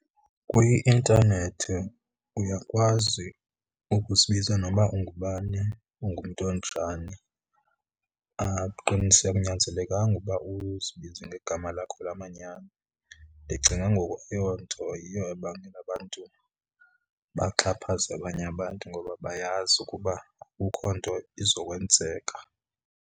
Kwi-intanethi uyakwazi ukuzibiza noba ungubani ungumntu onjani, akunyanzelekanga uba uzibize ngegama lakho lamanyani. Ndicinga ke ngoku eyo nto yiyo ebangela abantu baxhaphaze abanye abantu, ngoba bayazi ukuba akukho nto izokwenzeka.